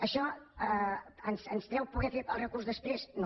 això ens treu poder fer el recurs després no